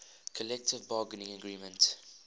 collective bargaining agreement